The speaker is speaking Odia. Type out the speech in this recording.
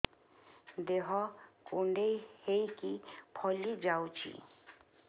ଦେହ କୁଣ୍ଡେଇ ହେଇକି ଫଳି ଯାଉଛି